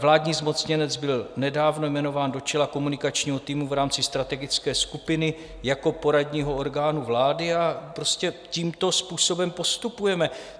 Vládní zmocněnec byl nedávno jmenován do čela komunikačního týmu v rámci strategické skupiny jako poradního orgánu vlády a prostě tímto způsobem postupujeme.